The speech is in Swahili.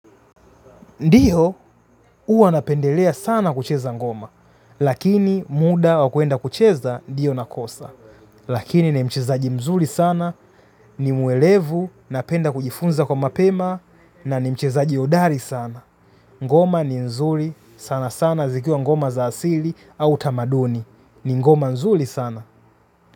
Ndiyo huwa napendelea sana kucheza ngoma, lakini muda wa kuenda kucheza ndiyo nakosa. Lakini ni mchezaji mzuli sana, ni muelevu, napenda kujifunza kwa mapema, na ni mchezaji hodari sana. Ngoma ni nzuli, sana sana zikiwa ngoma za asili au tamaduni. Ni ngoma nzuli sana.